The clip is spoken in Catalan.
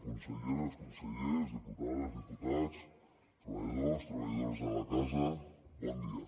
conselleres consellers diputades i diputats treballadors i treballadores de la casa bon dia